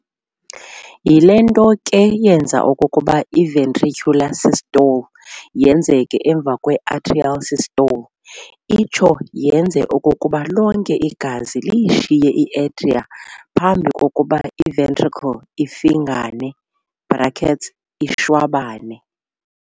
Yile nto ke le yenza okokuba i-ventricular systole yenzeke emva kwe-atrial systole, itsho yenze okokuba lonke igazi liyishiye i-atria phambi kokuba i-ventricle ifingane ishwabane.